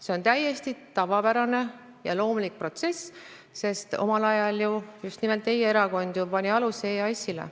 See on täiesti tavapärane ja loomulik protsess, omal ajal pani ju just nimelt teie erakond aluse EAS-ile.